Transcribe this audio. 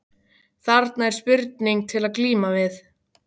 Þarna er spurning til að glíma við.